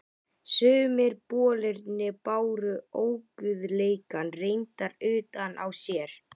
Sumir bolirnir báru óguðleikann reyndar utan á sér.